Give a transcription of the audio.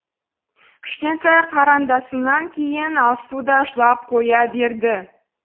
кішкентай қарындасымнан кейін алсу да жылап қоя берді